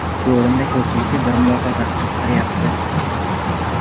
Shu o‘rinda ko‘pchilikni bir mulohaza qiziqtiryapti.